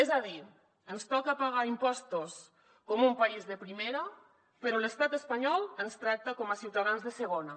és a dir ens toca pagar impostos com un país de primera però l’estat espanyol ens tracta com a ciutadans de segona